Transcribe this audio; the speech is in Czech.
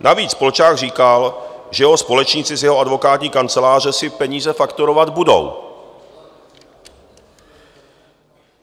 Navíc Polčák říkal, že jeho společníci z jeho advokátní kanceláře si peníze fakturovat budou.